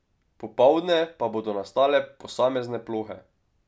Popoldne pa bodo nastale posamezne plohe.